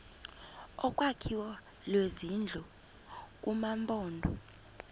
olwakhiwo lwezindlu kumaphondo